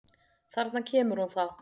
Þarna kemur hún þá!